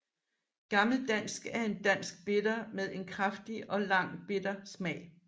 Gammel Dansk er en dansk Bitter med en kraftig og lang bitter smag